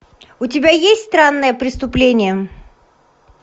у тебя есть странное преступление